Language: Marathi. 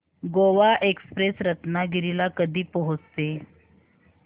गोवा एक्सप्रेस रत्नागिरी ला कधी पोहचते